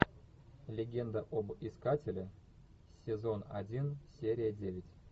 легенда об искателе сезон один серия девять